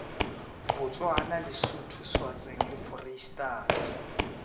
botswana lesotho swatseng le foreistata